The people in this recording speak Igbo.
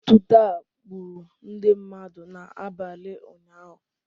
Otuto a gburu ndị mmadụ n'abalị ụnyahụ